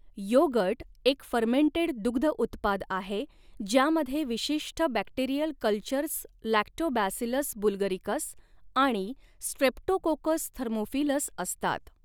Yogurt एक fermented दुग्ध उत्पाद आहे ज्यामध्ये विशिष्ट बॅक्टेरियल कल्चर्स लॅक्टोबॅसिलस बुल्गरिकस आणि स्ट्रेप्टोकोकस थर्मोफिलस असतात.